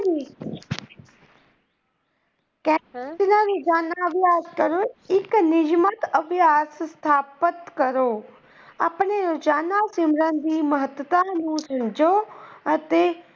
ਇੱਕ ਨਿਜਮਤ ਅਭਿਆਸ ਸਥਾਪਿਤ ਕਰੋ। ਆਪਣੇ ਰੋਜ਼ਾਨਾ ਸਿਮਰਨ ਦੀ ਮਹੱਤਤਾ ਨੂੰ ਸਮਝੋ ਅਤੇ।